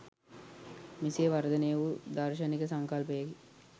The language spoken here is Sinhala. මෙසේ වර්ධනය වූ දාර්ශනික සංකල්පයකි.